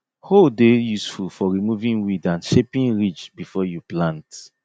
hoe dey useful for removing weed and shaping ridge before you plant